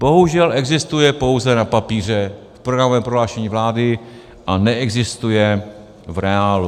Bohužel existuje pouze na papíře v programovém prohlášení vlády a neexistuje v reálu.